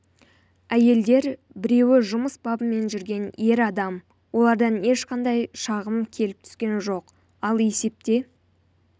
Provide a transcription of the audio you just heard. әйелдер біреуі жұмыс бабымен жүрген ер адам олардан ешқандай шағым келіп түскен жоқ ал есепте